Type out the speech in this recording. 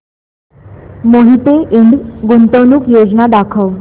मोहिते इंड गुंतवणूक योजना दाखव